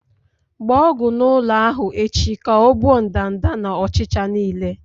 Gba ọgwụ n'ụlọ ahụ echi ka ọ gbuo ndanda na ọchịcha niile.